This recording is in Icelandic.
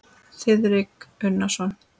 Þiðrik Unason.